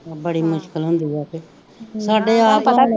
ਬੜੀ ਮੁਸ਼ਕਿਲ ਹੁੰਦੀ ਆ ਤੇ ਸਾਡੇ ਆਪ